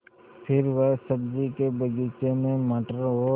फिर वह सब्ज़ी के बगीचे में मटर और